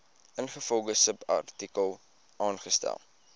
ingevolge subartikel aangestel